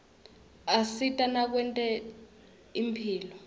asita nakwetemphilo